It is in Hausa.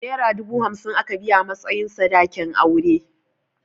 Naira dubu hamsin aka biya a matsayin sadakin auren.